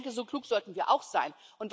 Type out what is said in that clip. Ich denke, so klug sollten wir auch sein.